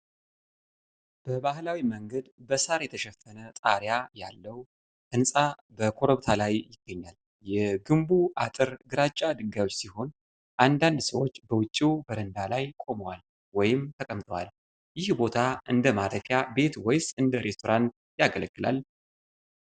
በባህላዊ መንገድ በሳር የተሸፈነ ጣሪያ ያለው ህንጻ በኰረብታ ላይ ይገኛል። የግንቡ አጥር ግራጫ ድንጋዮች ሲሆን፣ አንዳንድ ሰዎች በውጪው በረንዳ ላይ ቆመዋል ወይም ተቀምጠዋል። ይህ ቦታ እንደ ማረፊያ ቤት ወይስ እንደ ሬስቶራንት ያገለግላል?